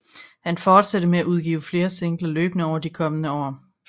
Han fortsatte med at udgive flere singler løbende over de kommende år